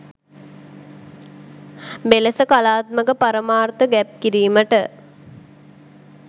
මෙලෙස කලාත්මක පරමාර්ථ ගැබ් කිරීමට